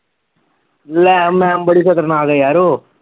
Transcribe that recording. ਲੈ ਮੈਮ ਬੜੀ ਖਤਰਨਾਕ ਆ ਯਾਰ ਉਹ